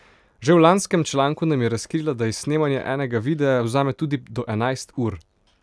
Že v lanskem članku nam je razkrila, da ji snemanje enega videa vzame tudi do enajst ur.